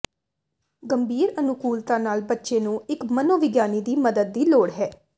ਗੰਭੀਰ ਅਨੁਕੂਲਤਾ ਨਾਲ ਬੱਚੇ ਨੂੰ ਇੱਕ ਮਨੋਵਿਗਿਆਨੀ ਦੀ ਮਦਦ ਦੀ ਲੋੜ ਹੈ